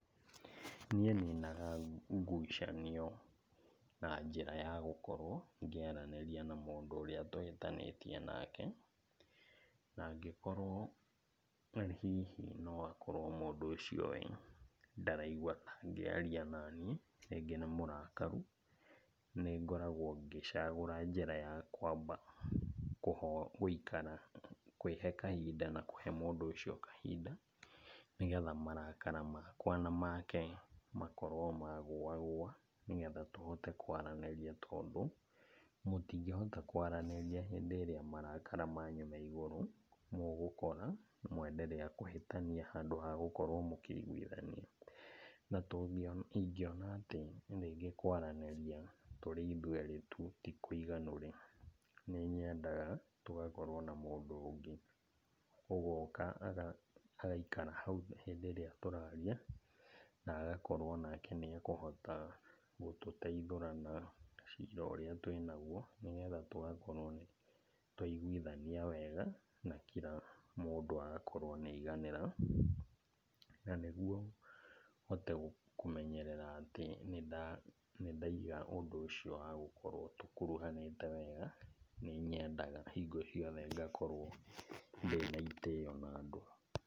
Niĩ ninaga ngucanio na njĩra ya gũkorwo ngĩaranĩria na mũndũ ũrĩa tũhĩtanĩtie nake, na angĩkorwo hihi no akorwo mũndũ ũcio we ndaraigua ta angĩaria nani, rĩngĩ nĩ mũrakaru, nĩ ngoragwo ngĩcagũra njĩra ya kwamba gũikara kũĩhe kahinda na kũhe mũndũ ucio kahinda, nĩ getha marakara makwa na make makorwo magũa gũa nĩ getha tũhote kwaranĩria tondũ, mũtingĩhota kwaranĩria hĩndĩ ĩrĩa marakara manyu me igũrũ, mũgũkora mwenderea kũhĩtania handũ ha gũkorwo mũkĩiguithania. Na ingĩona atĩ rĩngĩ kũaranĩria tũrĩ ithuerĩ tu ti kũiganu-rĩ, nĩ nyendaga tũgakorwo na mũndũ ũngĩ, ũgoka agaikara hau hĩndĩ ĩrĩa tũraria, na agakorwo nake nĩ akũhota gũtũteithũrana cira ũrĩa twĩ naguo. Nĩgetha tũgakorwo nĩ twa iguithania wega na kila mũndũ agakorwo nĩ aiganĩra, na nĩ guo hote kũmenyerera atĩ nĩndaiga ũndũ ũcio wa gũkorwo tũkuruhanĩte wega nĩ nyendaga hingo ciothe ngakorwo ndĩna itĩo na andũ.